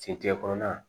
Sentigɛ kɔnɔna